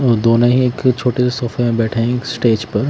और दोनों ही एक छोटे से सोफे में बैठे हैं स्टेज पर--